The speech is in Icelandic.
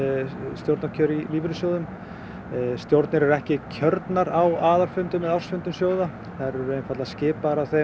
stjórnarkjör í lífeyrissjóðum stjórnir eru ekki kjörnar á aðalfundum eða ársfundum þær eru skipaðar af þeim